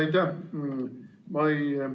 Aitäh!